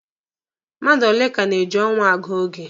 Mmadụ ole ka na-eji ọnwa agụ oge?